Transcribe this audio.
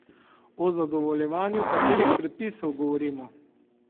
O zadovoljevanju katerih predpisov govorimo?